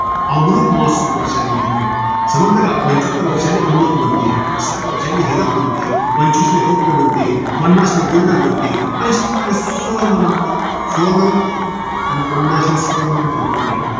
अमृत महोत्त्सावी वर्षानिमित्त. समजले का? पंच्याहत्तरले अमृत म्हणते. साठ वर्षले, हिरक म्हणते. पंचवीसले रौप्य म्हणते. पन्नासले golden म्हणते. अन शंभरले सुवर्ण म्हणते. सुवर्ण म्हणते? अबे पन्नासला सुवर्ण म्हणते, डूकर्या.